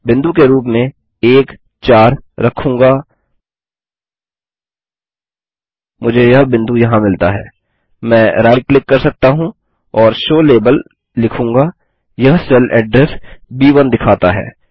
बिंदु के रूप में 14 रखूँगा मुझे यह बिंदु यहाँ मिलता है मैं राइट क्लिक कर सकता हूँ और शो लाबेल लिखूँगा यह सेल एड्रेस ब1 दिखाता है